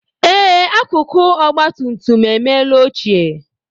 Ee, akụkụ ọgba tum tum emela ochie